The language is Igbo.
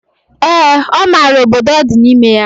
Ee, ọ mara obodo ọ di n'ime ya.